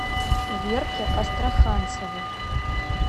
верке астраханцевой